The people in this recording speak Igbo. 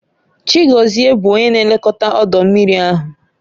Chigozie bụ onye na-elekọta ọdọ mmiri ahụ